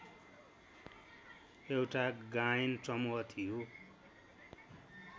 एउटा गायन समूह थियो